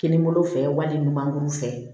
Kinibolo fɛ wali ɲumankuru fɛ